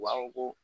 U b'a fɔ ko